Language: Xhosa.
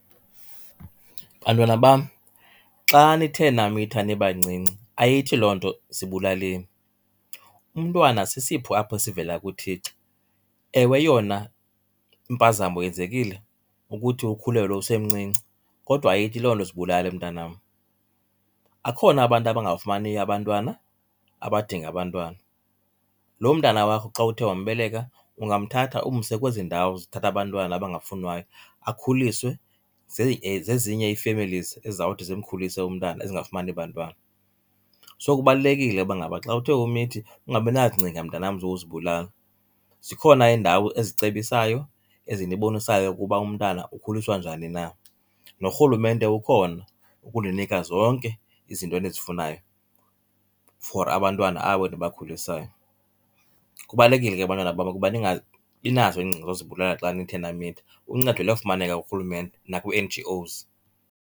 Bantwana bam, xa nithe namitha nibancinci ayithi loo nto zibulaleni, umntwana sisipho apho esivela kuThixo. Ewe, yona impazamo yenzekile ukuthi ukhulelwe usemncinci kodwa ayithi loo nto zibulale mntanam. Akhona abantu abangafumaniyo abantwana abadinga abantwana, loo mntana wakho xa uthe wambeleka ungamthatha umse kwezi ndawo zithatha abantwana abangafunwayo akhuliswe zezinye ii-families ezizawuthi zimkhulise umntana ezingafumani bantwana. So kubalulekile uba ngaba xa uthe umithi ungabinazicinga mntanam zokuzibulala. Zikhona iindawo ezicebisayo ezinibonisayo ukuba umntana ukhuliswa njani na, norhulumente ukhona ukuninika zonke izinto enizifunayo for abantwana abo nibakhulisayo. Kubalulekile ke bantwana bam ukuba ningabinazo iingcinga zozibulala xa nithe namitha, uncedo liyafumaneka kurhulumente nakwii-N_G_Os.